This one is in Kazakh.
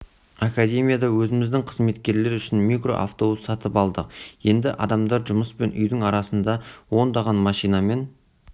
академияда өзіміздің қызметкерлер үшін микроавтобус сатып алдық енді адамдар жұмыс пен үйдің арасында ондаған машинамен